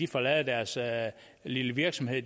forlade deres lille virksomhed